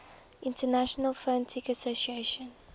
international phonetic association